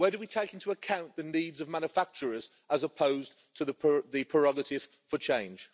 Where do we take into account the needs of manufacturers, as opposed to the prerogative for change?